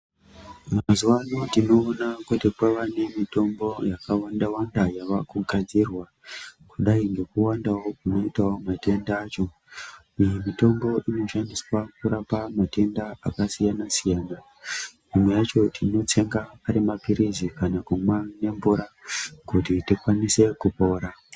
Mazuvano tinoona kuti kwava ne mitombo yaka wanda wanda yava kugadzirwa kudai ngeku wandawo kunoitawo matenda acho iyi mitombo inoshandiswawo kurapa matenda aka siyana siyana imwe yacho tino tsenga ari mapilisi kana kumwa ne mvura kuti tikwanise kupora.